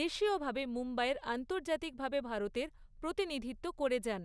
দেশীয়ভাবে মুম্বইয়ের আন্তর্জাতিকভাবে ভারতের প্রতিনিধিত্ব করে যান।